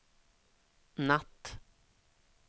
natt